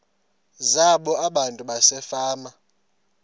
zabo abantu basefama